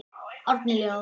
Árni Leó.